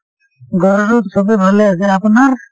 ঘৰৰত সবেই ভালে আছে, আপোনাৰ?